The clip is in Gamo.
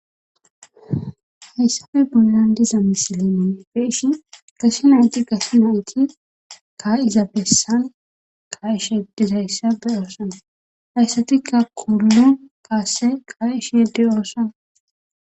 hayssabe bollan diza misilenee beeshin gase nayti gase nayti ka7izabessan kaishedizhayssabe oosana hayssatikka kudulo kaasse qaa7isheede oosan